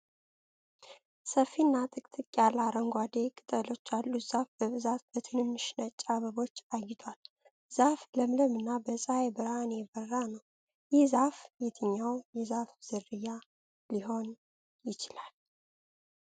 ሰፊና ጥቅጥቅ ያለ አረንጓዴ ቅጠሎች ያሉት ዛፍ በብዛት በትንንሽ ነጭ አበቦች አጊጧል። ዛፉ ለምለምና በፀሐይ ብርሃን የበራ ነው። ይህ ዛፍ የትኛዉ የዛፍ ዝርያ ሊሆን ይችላል? (30 ቃላት)